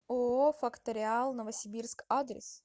ооо факториал новосибирск адрес